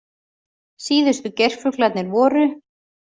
Síðustu geirfuglarnir voru